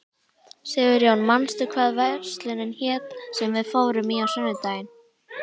Sigurjón, manstu hvað verslunin hét sem við fórum í á sunnudaginn?